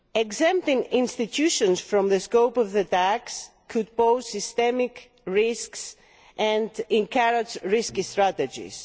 Exempting institutions from the scope of the tax could pose systemic risks and encourage risky strategies.